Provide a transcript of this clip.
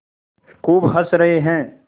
खूब हँस रहे हैं